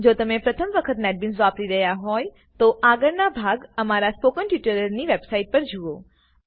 જો તમે પ્રથમ વખત નેટબીન્સ વાપરી રહ્યા હોય તો આગળના ભાગ અમારા સ્પોકન ટ્યુટોરિયલ ની વેબ સાઈટ પર જુઓ